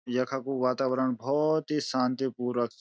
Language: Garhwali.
यखकू वातावरण भौत ही शांतिपूर्वक च।